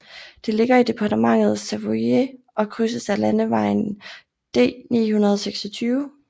Det ligger i departementet Savoie og krydses af landevejen D926